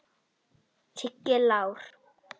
Siggi Lár.